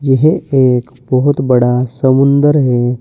यह एक बहुत बड़ा समुंदर है।